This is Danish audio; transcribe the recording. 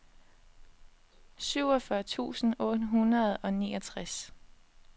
syvogfyrre tusind otte hundrede og niogtres